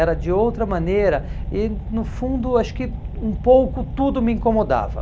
Era de outra maneira e no fundo acho que um pouco tudo me incomodava.